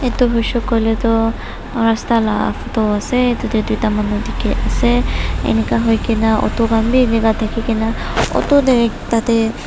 edu hoishey koilae tu rasta la photo ase tatae tuita manu dikhiase enika hoikae na auto khan bi enika thaki kaena auto tae tatae--